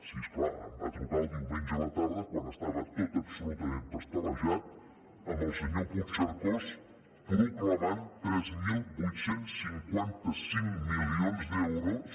sí és clar em va trucar el diumenge a la tarda quan estava tot absolutament pastelejat amb el senyor puigcercós proclamant tres mil vuit cents i cinquanta cinc milions d’euros